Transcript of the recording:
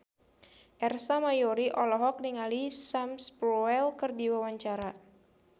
Ersa Mayori olohok ningali Sam Spruell keur diwawancara